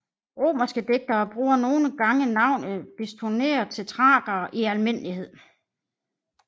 Romerske digtere bruger nogle gange navnet Bistoner til Thrakere i almindelighed